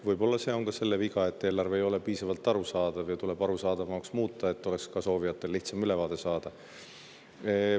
Võib-olla on see ka selle viga, et eelarve ei ole piisavalt arusaadav ja tuleb arusaadavamaks muuta, et soovijatel oleks lihtsam ülevaadet saada.